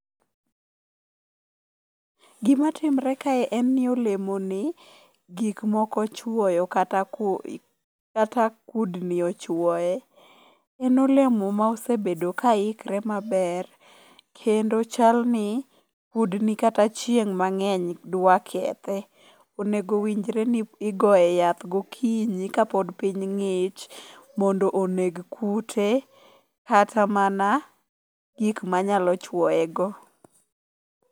Gimatimre kae en ni olemoni gik moko ochwoyo kata kudni ochwoye . En olemo mosebedo ka ikre maber kendo chalni kudni kata chieng' mang'eny dwa kethe. Onego owinjre ni igoye yath gokinyi kapod piny ng'ich mondo oneg kute kata mana gik manyalo chuoyego.